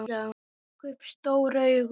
Hún rak upp stór augu.